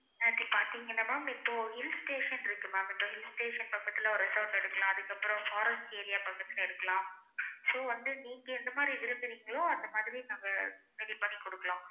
நேத்து பாத்தீங்கன்னா ma'am இப்போ hill station இருக்கு ma'am இந்த hill station பக்கத்துல ஒரு resort எடுக்கலாம் அதுக்கு அப்பறம் forest area பக்கத்துல எடுக்கலாம் so வந்து நீங்க எந்த மாறி விரும்புரிங்களோ அந்த மாதிரி நாங்க ready பண்ணி குடுக்கலாம்